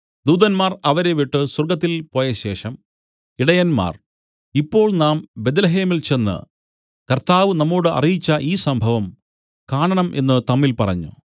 ദൂതന്മാർ അവരെ വിട്ടു സ്വർഗ്ഗത്തിൽ പോയശേഷം ഇടയന്മാർ ഇപ്പോൾ നാം ബേത്ത്ലേഹേമിൽ ചെന്ന് കർത്താവ് നമ്മോടു അറിയിച്ച ഈ സംഭവം കാണണം എന്നു തമ്മിൽ പറഞ്ഞു